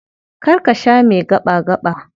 Kar ka sha mai gaɓa-gaɓa.